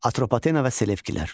Atropatena və Selevkilər.